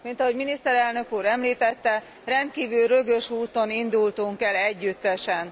Mint ahogy miniszterelnök úr említette rendkívül rögös úton indultunk el együttesen.